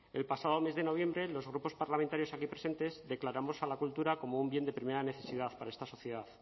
el pasado mes de noviembre los grupos parlamentarios aquí presentes declaramos a la cultura como un bien de primera necesidad para esta sociedad